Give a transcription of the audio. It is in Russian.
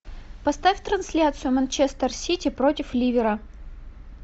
поставь трансляцию манчестер сити против ливера